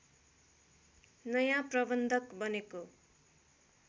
नयाँ प्रबन्धक बनेको